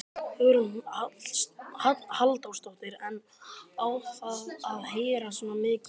Hugrún Halldórsdóttir: En á að heyrast svona mikið í því?